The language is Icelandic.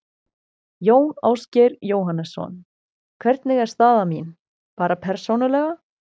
Jón Ásgeir Jóhannesson: Hvernig er staða mín, bara persónulega?